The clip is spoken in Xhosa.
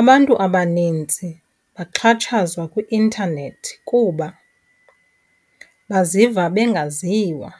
Abantu abanintsi baxhatshazwa kwi-intanethi kuba baziva bengaziwa,